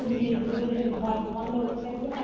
ঘুরে ঘুরে যে ঘর বন্ধ করতে হয়